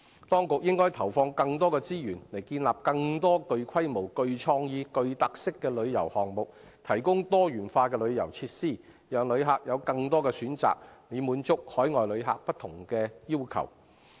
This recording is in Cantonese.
當局應該投放更多資源，以建立更多具規模、具創意、具特色的旅遊項目，從而提供多元化的旅遊設施，讓旅客有更多選擇，以滿足海外旅客的不同要求。